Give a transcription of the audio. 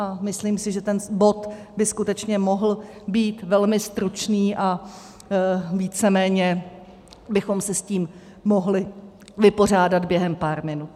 A myslím si, že ten bod by skutečně mohl být velmi stručný a víceméně bychom se s tím mohli vypořádat během pár minut.